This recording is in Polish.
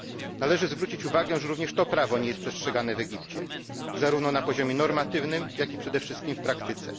Należy zwrócić uwagę, że również to prawo nie jest przestrzegane w Egipcie, zarówno na poziomie normatywnym, jak i przede wszystkim w praktyce.